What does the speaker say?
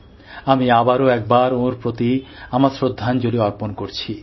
আমি আবারও একবার ওঁর প্রতি আমার শ্রদ্ধাঞ্জলি অর্পণ করছি